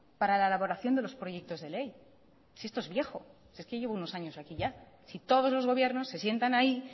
para la elaboración de los proyectos de ley si esto es viejo si es que llevo unos años aquí ya si todos los gobiernos se sientan ahí